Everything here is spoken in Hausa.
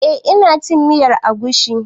Eh ina cin miyar agushi.